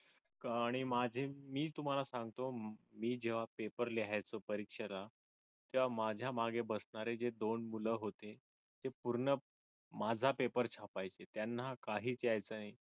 आणि अह माझे मी तुम्हाला सांगतो मी जेव्हा पेपर लिहायचो परीक्षेला तेव्हा माझ्या मागे बसणारे जे दोन मुलं होते हे पूर्ण माझा पेपर छापायचे त्यांना काहीच यायचं नाही.